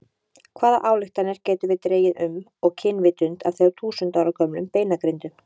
Hvaða ályktanir getum við dregið um og kynvitund af þúsund ára gömlum beinagrindum?